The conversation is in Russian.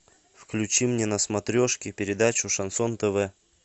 включи мне на смотрешке передачу шансон тв